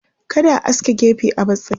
Kada a aske gefe a bar tsakiya.